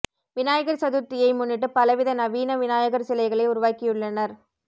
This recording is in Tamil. விநாயகர் சதுர்த்தியை முன்னிட்டு பல வித நவீன விநாயகர் சிலைகளை உருவாக்கியுள்ளனர்